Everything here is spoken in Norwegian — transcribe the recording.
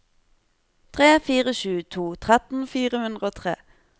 tre fire sju to tretten fire hundre og tre